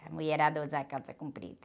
A mulherada usar calça comprida.